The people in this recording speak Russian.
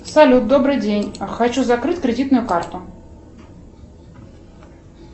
салют добрый день хочу закрыть кредитную карту